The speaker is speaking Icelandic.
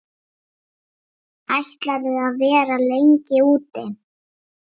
Ætlarðu að vera lengi úti?